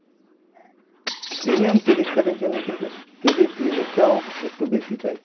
premium credit card এর জন্য কিন্তু credit limit টাও একটু বেশি চাই।